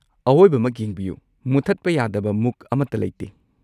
ꯑꯋꯣꯏꯕꯃꯛ꯫ ꯌꯦꯡꯕꯤꯌꯨ, ꯃꯨꯠꯊꯠꯄ ꯌꯥꯗꯕ ꯃꯨꯛ ꯑꯃꯠꯇ ꯂꯩꯇꯦ꯫